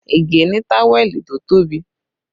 Ige ni táwẹ̀lì tó tóbi